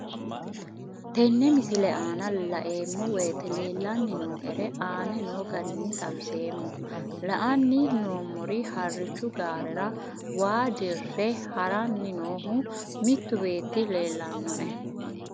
Tenne misile aana laeemmo woyte leelanni noo'ere aane noo garinni xawiseemmo. La'anni noomorri harichchu gaarerra waa dire harranni noohu mittu beeti leelanoe.